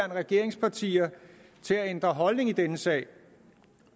regeringspartier til at ændre holdning i denne sag